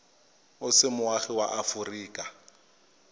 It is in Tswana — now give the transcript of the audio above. o se moagi wa aforika